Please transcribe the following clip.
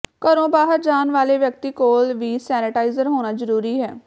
ਘਰੋਂ ਬਾਹਰ ਜਾਣ ਵਾਲੇ ਵਿਅਕਤੀ ਕੋਲ ਵੀ ਸੈਨੇਟਾਇਜਰ ਹੋਣਾ ਜਰੂਰੀ ਹੈ